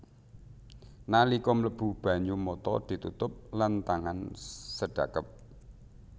Nalika mlebu banyu mata ditutup lan tangan sedhakep